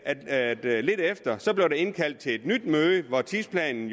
at der lidt efter blev indkaldt til et nyt møde hvor tidsplanen